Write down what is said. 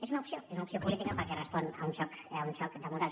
és una opció és una opció política perquè respon a un xoc de models